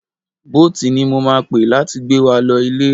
Boat ni mo máa pe láti gbé wa lọ ilé.